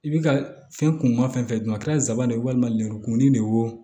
I bi ka fɛn kun ma fɛn fɛn dun a kɛra nsaban de ye walima lemurukumuni de ye wo